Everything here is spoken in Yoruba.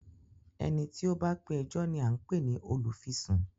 Eni tí ó bá pe ẹjọ́ ni à ń pè ní olùfisùn